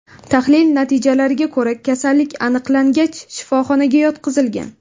Tahlil natijalariga ko‘ra, kasallik aniqlangach, shifoxonaga yotqizilgan.